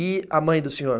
E a mãe do senhor?